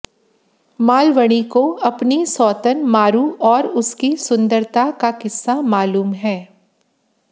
मालवणी को अपनी सौतन मारू और उसकी सुन्दरता का किस्सा मालूम है